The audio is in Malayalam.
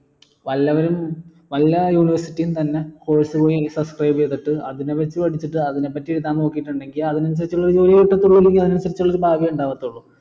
വല്ലവനും വല്ല university യും തന്ന course പോയി subscribe ചെയ്തിട്ട് അതിനെ പറ്റി പഠിച്ചിട്ട് അതിനെ പറ്റി എഴുതാൻ നോകീട്ടിണ്ടേൽ അതിന് അനുസരിച്ചുള്ളൊരു ജോലിയെ കിട്ടത്തുള്ളൂ അല്ലെങ്കി അതിന് അനുസരിച്ചുള്ളൊരു ഭാഗ്യമേ ഇണ്ടാവത്തുള്ളു